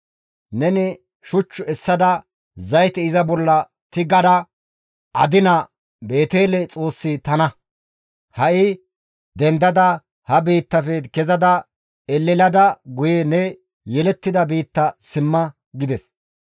Neni shuch essada zayte iza bolla tigada adinida Beetele Xoossi tana; ha7i dendada ha biittafe kezada elelada guye ne yelettida biitta simma› » gides.